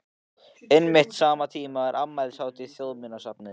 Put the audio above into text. Einmitt á sama tíma er afmælishátíð Þjóðminjasafnsins í